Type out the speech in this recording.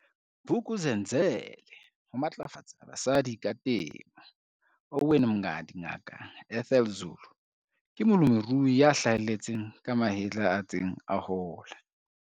Vuk'uzenzele Ho matlafatsa basadi ka temo, Owen Mngadi Ngaka Ethel Zulu ke molemirui a hlaheletseng ka mahetla a ntseng a hola.